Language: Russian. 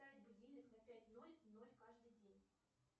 поставь будильник на пять ноль ноль каждый день